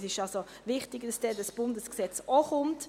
Es ist wichtig, dass das Bundesgesetz auch kommt;